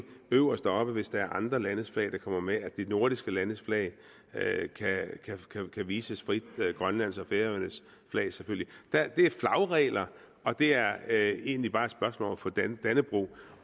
øverst oppe hvis der er andre landes flag der kommer med at de nordiske landes flag kan vises frit grønlands og færøernes flag selvfølgelig det er flagregler og det er egentlig bare et spørgsmål om at få dannebrog